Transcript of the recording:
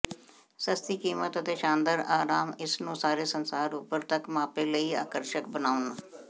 ਸਸਤੀ ਕੀਮਤ ਅਤੇ ਸ਼ਾਨਦਾਰ ਆਰਾਮ ਇਸ ਨੂੰ ਸਾਰੇ ਸੰਸਾਰ ਉਪਰ ਤੱਕ ਮਾਪੇ ਲਈ ਆਕਰਸ਼ਕ ਬਣਾਉਣ